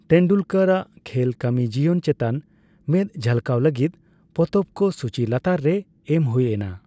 ᱛᱮᱱᱰᱩᱞᱠᱚᱨ ᱟᱜ ᱠᱷᱮᱞ ᱠᱟᱹᱢᱤ ᱡᱤᱭᱚᱱ ᱪᱮᱛᱟᱱ ᱢᱮᱫ ᱡᱷᱟᱞᱠᱟᱣ ᱞᱟᱹᱜᱤᱫ ᱯᱚᱛᱚᱵ ᱠᱚ ᱥᱩᱪᱤ ᱞᱟᱛᱟᱨ ᱨᱮ ᱮᱢ ᱦᱳᱭ ᱮᱱᱟ ᱾